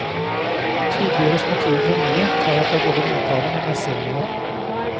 Tydeliggjøres motivet for mye, tar jeg fra både mottageren og meg selv noe.